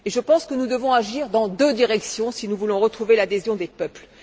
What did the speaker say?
Et je pense que nous devons agir dans deux directions si nous voulons retrouver l'adhésion des peuples.